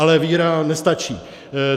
Ale víra nestačí.